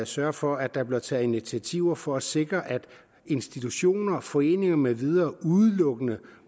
sørge for at der bliver taget initiativer for at sikre at institutioner foreninger med videre udelukkende